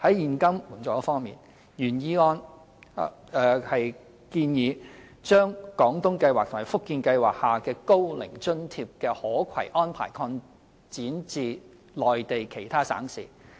在現金援助方面，原議案建議將"廣東計劃"和"福建計劃"下高齡津貼的可攜安排擴展至內地其他省市。